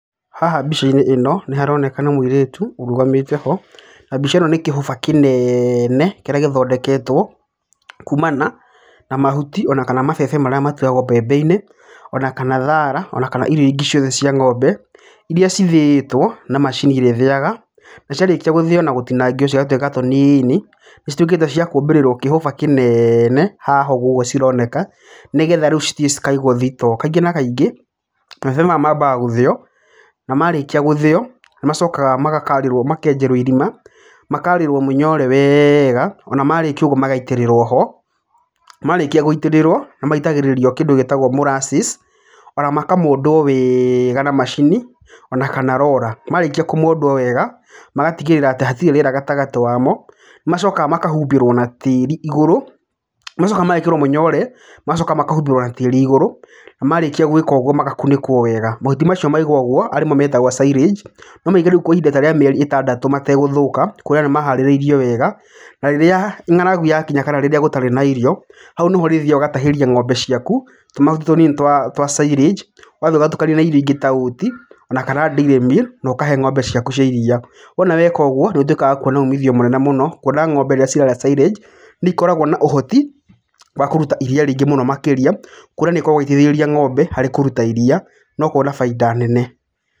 Haha mbica-inĩ ĩno nĩ haroneka nĩ mũirĩtu ũrũgamĩte ho. Na mbica ĩno nĩ kĩhũba kĩnene kĩrĩa gĩthondeketwo kuumana na mahuti ona kana mabebe marĩa matuagwo mbembe-inĩ, ona kana thara, ona kana irio ingĩ ciothe cia ng'ombe. Irĩa cithĩĩtwo na macini ĩrĩa ĩthĩaga. Na ciarĩkio gũthĩo na gũtinangio cigatuĩka tũnini, nĩ cituĩkĩte cia kũmbirĩrwo kĩhũba kĩnene haha ũguo cironeka, nĩgetha cithiĩ cikaigwo store. Kaingĩ na kaingĩ mabebe maya maambaga gũthĩo na marĩkia gũthĩo nĩ macokaga makenjerwo irima, makaarĩrwo mũnyore wega ona marĩkia ũguo magaitĩrĩrwo ho. Marĩkia gũitĩrĩrwo nĩ maitagĩrĩrio kĩndũ gĩtagwo molasses ona makamondwo wega na macini ona kana roller. Marĩkia kũmondwo wega magatigĩrĩra atĩ hatirĩ rĩera gatagatĩ wa mo. Nĩ macokaga makahumbĩrwo na tĩĩri igũrũ, magacoka magekĩrwo mũnyore, magacoka makahumbĩrwo na tĩĩri igũrũ na marĩkia gwĩkwo ũguo magakunĩkwo wega. Mahuti macio mekwo ũguo metagwo silage no maigwo rĩu kwa ihinda ta rĩa mĩeri ĩtandatũ mategũthũka, kuona nĩ maharĩrĩirio wega. Na rĩrĩa ng'aragu yakinya kana rĩrĩa gũtarĩ na irio, hau nĩho ũrĩthiaga ũgatahĩria ng'ombe ciaku tũmahuti tũnini twa silage. Ũgathiĩ ũgatukania na irĩa ingĩ ta Oats ona kana Dairy Meal na ũkahe ng'ombe ciaku cia iria. Wona weka ũguo nĩ ũtuĩkaga wa kuona ũmithio mũnene mũno. Kuona ng'ombe rĩrĩa cirarĩa silage nĩ ikoragwo na ũhoti wa kũruta iria rĩngĩ mũno makĩria. Kuona nĩ ikoragwo ng'ombe harĩ kũruta iria na ũkona baita nene.